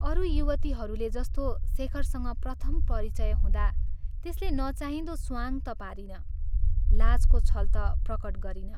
अरू युवतीहरूले जस्तो शेखरसँग प्रथम परिचय हुँदा त्यसले नचाहिंदो स्वाँग ता पारिन, लाजको छल ता प्रकट गरिन।